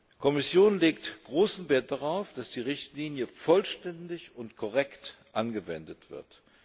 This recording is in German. Die Kommission legt großen Wert darauf, dass die Richtlinie vollständig und korrekt angewendet wird.